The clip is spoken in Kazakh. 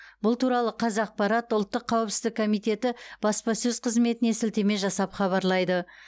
бұл туралы қазақпарат ұлттық қауіпсіздік комитеті баспасөз қызметіне сілтеме жасап хабарлайды